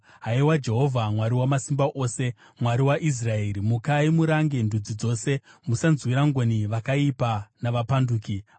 Haiwa Jehovha, Mwari Wamasimba Ose, Mwari waIsraeri, mukai murange ndudzi dzose; musanzwira ngoni vakaipa navapanduki. Sera